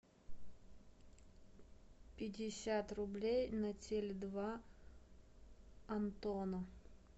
пятьдесят рублей на теле два антону